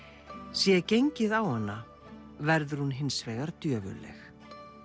sé gengið á hana verður hún hins vegar djöfulleg